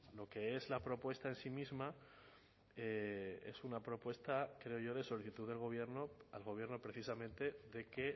lo que es la propuesta en sí misma es una propuesta creo yo de solicitud del gobierno al gobierno precisamente de que